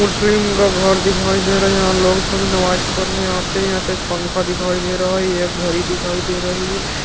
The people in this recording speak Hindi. मुस्लिम का घर दिखाई दे रहा है यहां लोग सभी नमाज़ पढ़ने आते है यहाँ पे एक पंखा दिखाई दे रहा है ये एक घड़ी दिखाई दे रही है ।